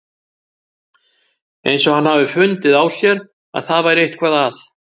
Eins og hann hafi fundið á sér að það væri eitthvað að.